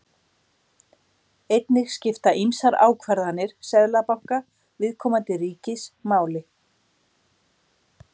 Einnig skipta ýmsar ákvarðanir seðlabanka viðkomandi ríkis máli.